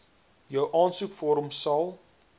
jou aansoekvorm sal